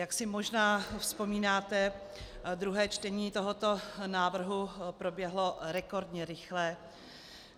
Jak si možná vzpomínáte, druhé čtení tohoto návrhu proběhlo rekordně rychle.